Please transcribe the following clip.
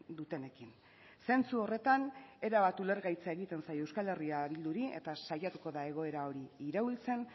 dutenekin zentzu horretan erabat ulergaitza egiten zaio euskal herria bilduri eta saiatuko da egoera hori iraultzen